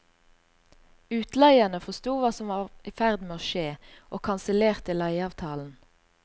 Utleierne forsto hva som var i ferd med å skje og kansellerte leieavtalen.